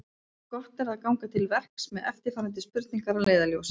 Gott er ganga til verks með eftirfarandi spurningar að leiðarljósi: